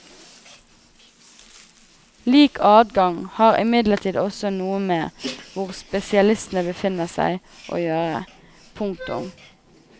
Lik adgang har imidlertid også noe med hvor spesialistene befinner seg å gjøre. punktum